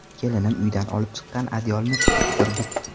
Kelinim uydan olib chiqqan adyolni tutib turdik.